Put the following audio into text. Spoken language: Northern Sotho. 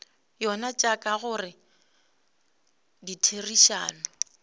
yona tša ka gare ditherišano